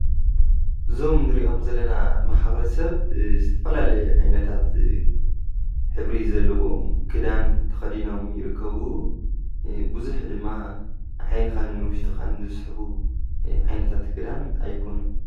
እዞም ንሪኦም ዘለና ማሕበረሰብ ዝተፈላለየ ዓይነታት ሕብሪ ዘለዎም ክዳን ተከዲኖም ይርከቡ:: ብዙሕ ድማ ዓይንካን ንዉሽጥካን ዝስሕቡ ዓይነታት ክዳን ኣይኮኑን።